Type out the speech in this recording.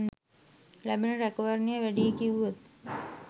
ලැබෙන රැකවරණය වැඩියි කිව්වොත්?